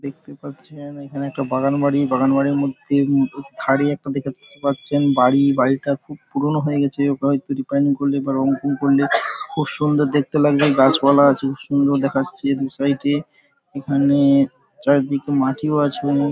দেখতে পাচ্ছেন এখানে একটা বাগান বাড়ি বাগান বাড়ির মধ্যে খুব থাড়ি একটা দেখাচ্ছে পাচ্ছেন বাড়িবাড়িটা খুব পুরোনো হয়ে গেছে হবে হয়তো রিপেয়ারিং করলে বা রং ফং করলে খুব সুন্দর দেখতে লাগবে। গাছপালা আছে খুব সুন্দর দেখাচ্ছে দু সাইড -এ এখানে চারিদিকে মাটিও আছে।